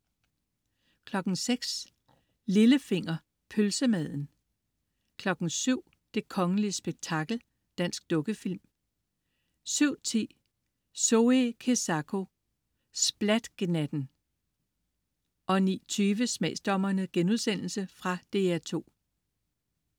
06.00 Lillefinger. Pølsemaden 07.00 Det kongelige spektakel. Dansk dukkefilm 07.10 Zoe Kezako. Splat Gnatten 09.20 Smagsdommerne.* Fra DR2